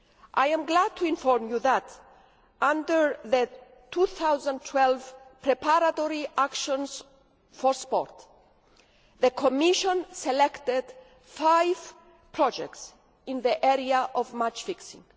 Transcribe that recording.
I am glad to inform you that, under the 2012 Preparatory Actions for Sport, the Commission selected five projects in the area of match fixing.